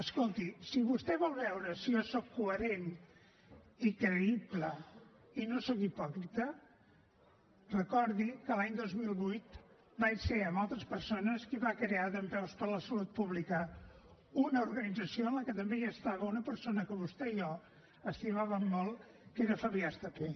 escolti si vostè vol veure si jo soc coherent i creïble i no soc hipòcrita recordi que l’any dos mil vuit vaig ser amb altres persones qui va crear dempeus per la salut pública una organització en la que també hi estava una persona que vostè i jo estimàvem molt que era fabià estapé